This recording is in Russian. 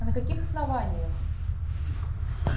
а на каких основаниях